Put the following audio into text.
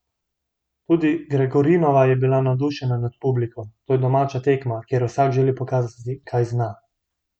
Tudi Gregorinova je bila navdušena nad publiko: "To je domača tekma, kjer vsak želi pokazati, kaj zna.